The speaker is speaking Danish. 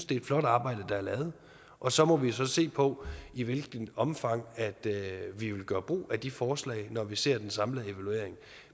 det er flot arbejde der er lavet og så må vi jo så se på i hvilket omfang vi vil gøre brug af de forslag når vi ser den samlede evaluering